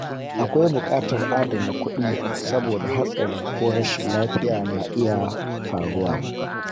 Akwai buƙatar adana kuɗi saboda hatsari ko rashin lafiya na iya faruwa.